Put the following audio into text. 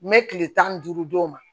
N bɛ kile tan ni duuru d'o ma